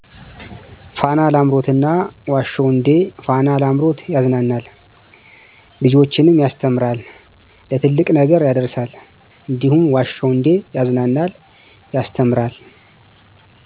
ፋና ላምሮት እና ዋሸሁ እንዴ ፋና ላምሮት ያዝናናል ልጆችንም ያስተምራል ለትልቅ ነገር ያዳርሳል እንዲሁም ዋሸሁ እዴ ያዝናናል ያስተምራል።